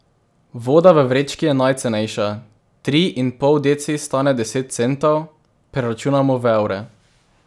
Voda v vrečki je najcenejša, tri in pol deci stane deset centov, preračunano v evre.